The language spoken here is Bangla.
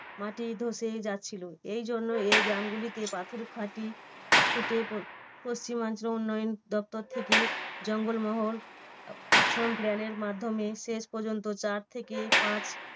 মাটি ধসে যাচ্ছিলো এই জন্য এই গ্রামগুলিতে পাথর ফাটি খুঁটে প~ পশ্চিমাঞ্চল উন্নয়ন দপ্তর থেকে জঙ্গলমহল action plan এর মাধ্যমে শেষ পর্যন্ত চার থেকে পাঁচ